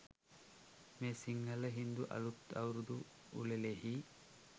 මේ සිංහල, හින්දු අලුත් අවුරුදු උළෙලෙහි